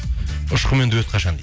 ұшқынмен дуэт қашан дейді